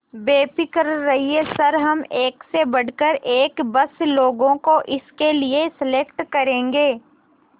बेफिक्र रहिए सर हम एक से बढ़कर एक बस लोगों को इसके लिए सेलेक्ट करेंगे